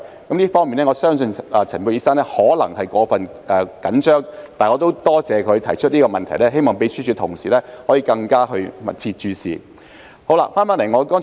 我相信陳沛然醫生在這方面可能過分緊張，但我亦多謝他提出這個問題，希望秘書處同事可以更加密切關注。